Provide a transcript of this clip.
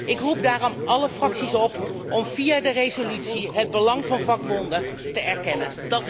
Ik roep daarom alle fracties op om via de resolutie het belang van vakbonden te erkennen.